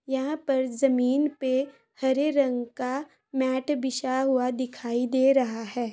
यहाँ पर जमीन पे हरे रंग का मैट बिछा हुआ दिखाई दे रहा है।